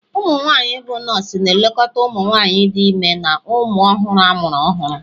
umunwanyi bụ nọọsụ na-elekọta ụmụ nwanyị dị ime na ụmụ ọhụrụ amụrụ ọhụrụ